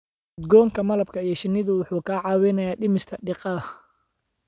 Udgoonka malabka iyo shinnidu waxay kaa caawinayaan dhimista diiqada.